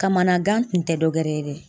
Kamanagan tun tɛ dɔwɛrɛ ye dɛ.